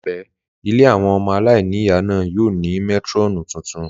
Laipe, Ilé àwọn ọmọ aláìníìyá náà yóò ní métírọ́ọ̀nù tuntun.